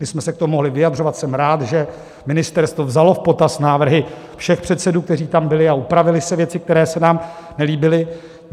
My jsme se k tomu mohli vyjadřovat, jsem rád, že ministerstvo vzalo v potaz návrhy všech předsedů, kteří tam byli, a upravily se věci, které se nám nelíbily.